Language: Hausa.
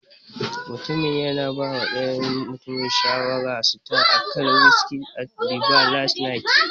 Mutumin yana bawa dayan mutumin shawarar sita akan wiski at the bar last night.